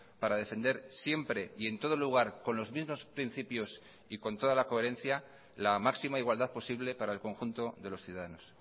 para defender siempre y en todo lugar con los mismos principios y con toda la coherencia la máxima igualdad posible para el conjunto de los ciudadanos